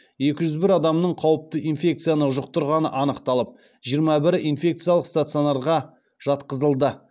екі жүз бір адамның қауіпті инфекцияны жұқтырғаны анықталып жиырма бірі инфекциялық стационарға жатқызылды